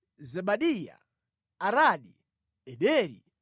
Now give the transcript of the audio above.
Zebadiya, Aradi, Ederi,